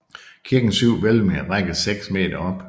Kirkens syv hvælvinger rækker seks m op